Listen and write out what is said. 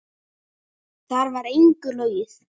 Þar var engu logið.